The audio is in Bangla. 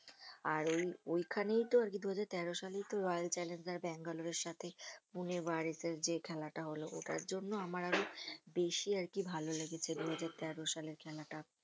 আর ওই~ ওইখানেই তো আরকি দুহাজার তেরো সালেই তো রয়্যাল চ্যালেঞ্জর্স ব্যাঙ্গালোরের সাথে পুনে ওয়ারিশের যে খেলাটা হলো `ওটার জন্য আমার আরো বেশি আরকি ভালো লেগেছে দুহাজার তেরো সালের খেলাটা